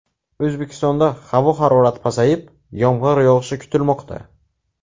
O‘zbekistonda havo harorati pasayib, yomg‘ir yog‘ishi kutilmoqda.